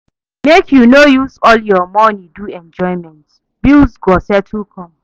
Make you no use all your money do enjoyment, bills go still come.